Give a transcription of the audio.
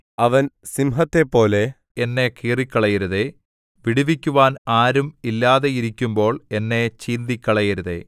അവൻ സിംഹത്തെപ്പോലെ എന്നെ കീറിക്കളയരുതേ വിടുവിക്കുവാൻ ആരും ഇല്ലാതെയിരിക്കുമ്പോൾ എന്നെ ചീന്തിക്കളയരുതേ